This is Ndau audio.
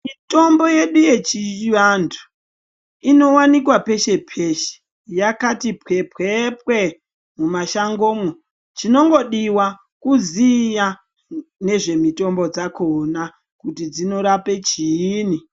Mitombo yedu yechivantu inowanikwa peshe peshe yakati pwe pwe pwe mumashangomwo chinongodiwa kuziva nezvemitombo dzakona kuti dzinorapa chini.